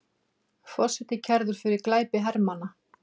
Forseti kærður fyrir glæpi hermanna